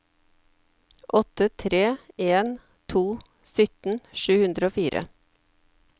åtte tre en to sytten sju hundre og fire